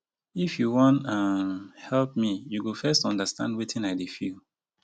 if you wan um help me you go first understand wetin i dey feel.